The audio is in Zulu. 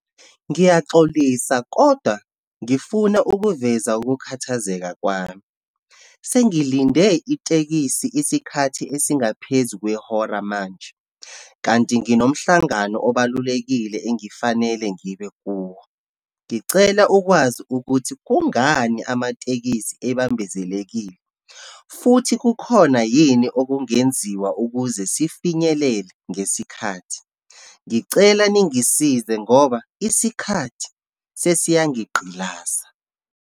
Ngiyaxolisa kodwa ngifuna ukuveza ukukhathazeka kwami. Sengilinde itekisi isikhathi esingaphezu kwehora manje, kanti nginomhlangano obalulekile engifanele ngibe kuwo. Ngicela ukwazi ukuthi kungani amatekisi ebambezekile, futhi kukhona yini okungenziwa ukuze sifinyelele ngesikhathi. Ngicela ningisize ngoba isikhathi sesiyangigqilaza.